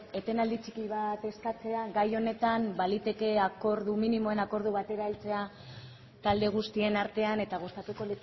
etenaldi txiki bat eskatzen gai honetan baliteke minimoen akordio batera heltzea talde guztien artean eta gustatuko